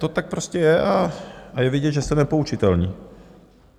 To tak prostě je a je vidět, že jste nepoučitelní.